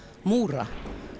múra